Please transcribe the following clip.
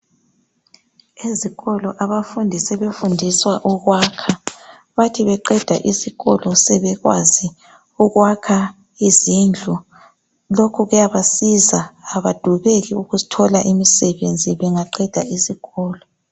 Ezikolo abafundi sebefundiswa ukwakha, bathi beqeda isikolo sebekwazi ukwakha izindlu lokhu kuyabasiza abadubeki ukuthola imisebenzi bangaqeda isikolo.